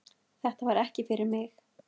Þetta var ekki fyrir mig